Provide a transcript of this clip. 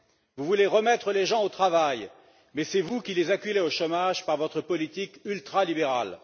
Vous voulez remettre les gens au travail, mais c'est vous qui les acculez au chômage par votre politique ultralibérale.